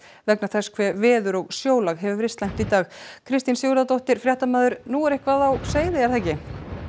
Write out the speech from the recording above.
vegna þess hve veður og sjólag hefur verið slæmt í dag Kristín Sigurðardóttir fréttamaður nú er eitthvað á seyði er það ekki